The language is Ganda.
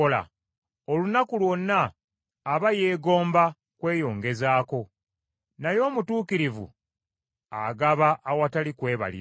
Olunaku lwonna aba yeegomba kweyongezaako, naye omutuukirivu agaba awatali kwebalira.